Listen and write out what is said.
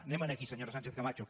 anem aquí senyora sánchez camacho